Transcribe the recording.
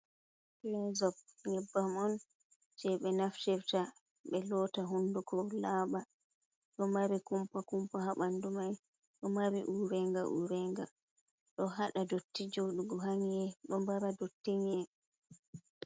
Kolosop nyebba un jei be naftirta be lotta hunduko laba, do mari kumpa kumpa ha bandu mai do mari urenga urenga, do hada dotti jodugo ha nyi'e do mbara dotti nyi'e.